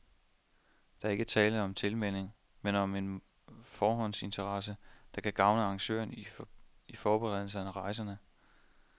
Der er ikke tale om tilmelding, men om en forhåndsinteresse, der kan gavne arrangøren i forberedelsen af rejserne.